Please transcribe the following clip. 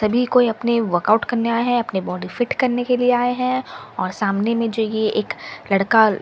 सभी कोई अपने वर्कआउट करने आए है अपने बॉडी फिट करने के लिए आए है और सामने में जो ये एक लड़का --